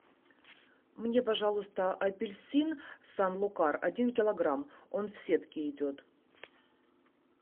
мне пожалуйста апельсин сан лукар один килограмм он в сетке идет